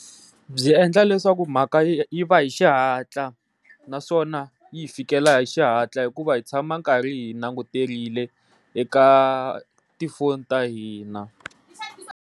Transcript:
Byi endla leswaku mhaka yi va hi xihatla naswona yi hi fikela hi xihatla hikuva hi tshama karhi hi languterile eka tifoni ta hina.